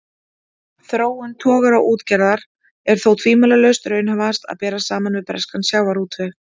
Þróun togaraútgerðar er þó tvímælalaust raunhæfast að bera saman við breskan sjávarútveg.